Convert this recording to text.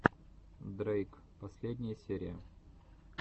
дрейк последняя серия